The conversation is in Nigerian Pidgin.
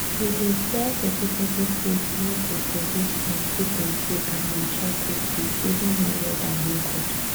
we dey sell vegetable seeds wey dey produce plenty plenty and mature quick quick even wen weather no good